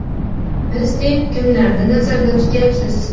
Biz deb kimlarni nazarda tutyapsiz?